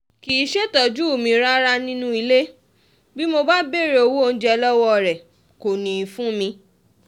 kì í ṣètọ́jú mi rárá nínú ilé bí mo bá béèrè owó oúnjẹ lọ́wọ́ rẹ̀ kò ní í fún mi